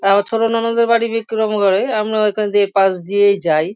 আর আমার ছোট ননদের বাড়ি বিক্রমগড়ে। আমরা ওখান দিয়ে পাশ দিয়েই যাই।